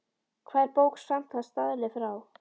Hvað er bók samkvæmt staðli frá